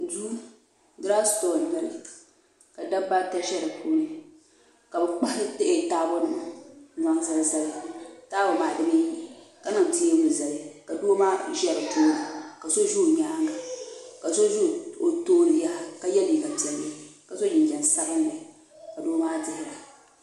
Duu durositɔɣu n nyɛli ka dabba ata ʒɛ dipuuni ka bɛ kpahi taabo nima n zali zali taabo maa dibaayi ka niŋ teebuli zali ka doo maa ʒɛ dipuuni ka so ʒɛ o nyaanga ka so ʒɛ o tooni yaha ka ye liiga piɛlli ka so jinjiɛm sabinli ka doo maa dihira .